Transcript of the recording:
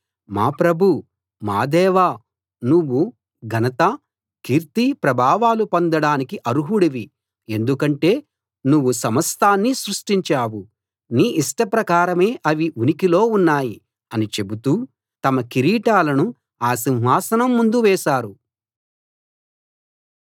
మా ప్రభూ మా దేవా నువ్వు ఘనత కీర్తి ప్రభావాలు పొందడానికి అర్హుడివి ఎందుకంటే నువ్వు సమస్తాన్నీ సృష్టించావు నీ ఇష్టప్రకారమే అవి ఉనికిలో ఉన్నాయి అని చెబుతూ తమ కిరీటాలను ఆ సింహాసనం ముందు వేశారు